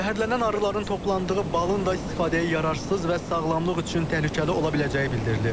Zəhərlənən arıların toplandığı balın da istifadəyə yararsız və sağlamlıq üçün təhlükəli ola biləcəyi bildirilir.